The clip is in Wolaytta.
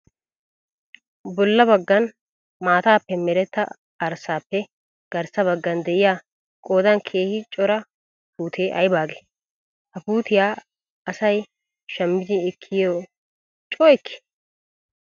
Bolla baggan maataappe meretta arssaappe garssa baggan diyaa qoodan keehi cura puutee ayibaagee? Ha puutiyaa asayi shammidi ekkiiyye coo ekkii?